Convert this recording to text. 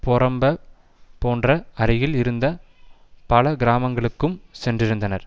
போரம்ப போன்ற அருகில் இருந்த பல கிராமங்களுக்கும் சென்றிருந்தனர்